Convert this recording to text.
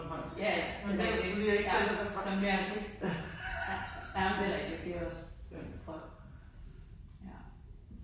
Jaja sådan en dialekt ja som ja ?? sådan er det jamen det er det også vrøvl ja